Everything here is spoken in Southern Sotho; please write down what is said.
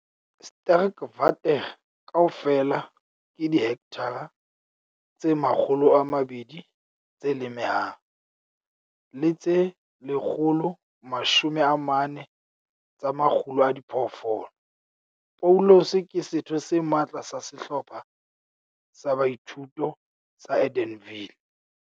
Sterkwater kaofela ke dihekthara tse 200 tse lemehang, le tse 140 tsa makgulo a diphoofolo. Paulus ke setho se matla sa Sehlopha sa Boithuto sa Edenville.